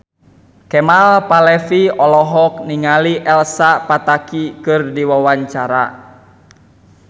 Kemal Palevi olohok ningali Elsa Pataky keur diwawancara